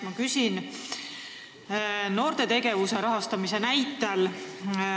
Ma küsin noorte tegevuse rahastamise näitel.